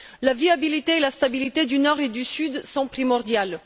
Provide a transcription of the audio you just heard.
La viabilité et la stabilité du Nord et du Sud sont primordiales.